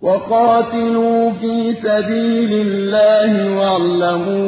وَقَاتِلُوا فِي سَبِيلِ اللَّهِ وَاعْلَمُوا